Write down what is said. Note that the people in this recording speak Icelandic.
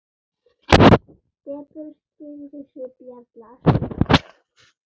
Depurð skyggði svip jarla.